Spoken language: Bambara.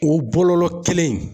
O bɔlɔlɔ kelen in